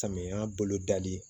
Samiya bolo dali